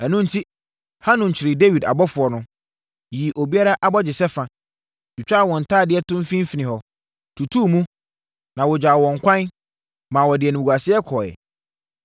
Ɛno enti, Hanun kyeree Dawid abɔfoɔ no, yii obiara abɔgyesɛ fa, twitwaa wɔn ntadeɛ to mfimfini hɔ, tutuu mu, na wɔgyaa wɔn ɛkwan, maa wɔde animguaseɛ kɔeɛ.